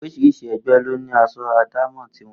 Orís̩irís̩i e̩gbé̩ ló ní as̩o̩ àdámò̩ ti wo̩n